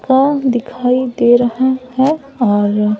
का दिखाई दे रहा हैं और--